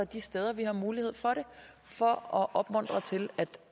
de steder vi har mulighed for det for at opmuntre til